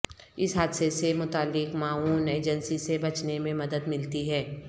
اس حادثے سے متعلق معاون ایجنسی سے بچنے میں مدد ملتی ہے